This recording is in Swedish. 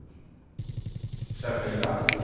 särskilda